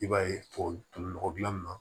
I b'a ye tubabu nɔgɔ dilan